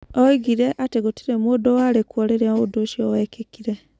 Oigire atĩ gũtirĩ mũndũ warĩ kuo rĩrĩa ũndũ ũcio wekĩkire.